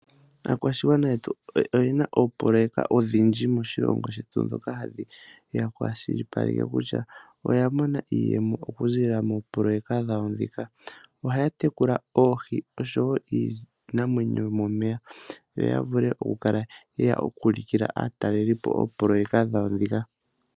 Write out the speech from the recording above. Aakwashigwana yetu oyena oopololeka odhindji moshilongo shetu. Ndhoka hadhi ya kwashilipaleke kutya oya mona iiyemo okuza moopololeka dhawo ndhika. Ohaya tekula oohi osho wo iinamwenyo yomomeya . Yo yavule okukala yu ulukila aatalelipo oopololeka dhawo ndhika.